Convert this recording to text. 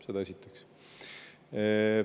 Seda esiteks.